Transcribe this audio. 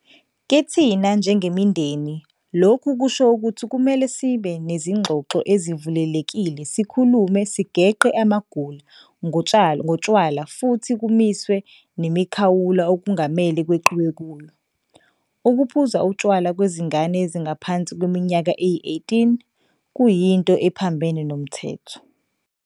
Kithina njengemindeni lokhu kusho ukuthi kumele sibe nezingxoxo ezivulelekile sikhulume sigeqe amagula ngotshwala futhi kumiswe nemikhawulo okungamele kweqiwe kuyo. Ukuphuza utshwala kwezingane ezingaphansi kweminyaka eyi-18 kuyinto ephambene nomthetho.